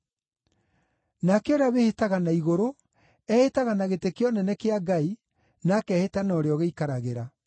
Nake ũrĩa wĩhĩtaga na igũrũ, ehĩtaga na gĩtĩ kĩa ũnene kĩa Ngai, na akehĩta na ũrĩa ũgĩikaragĩra.